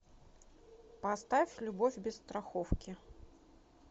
поставь любовь без страховки